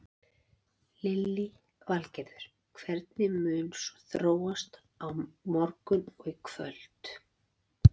Lillý Valgerður: Hvernig mun svo þróast á morgun og í kvöld?